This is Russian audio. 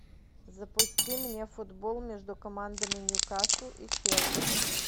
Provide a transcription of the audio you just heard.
запусти мне футбол между командами ньюкасл и челси